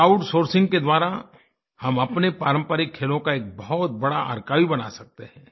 crowd sourcing के द्वारा हम अपने पारंपरिक खेलों का एक बहुत बड़ा आर्काइव बना सकते हैं